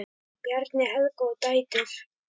Bjarni, Helga og dætur.